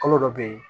Kalo dɔ bɛ ye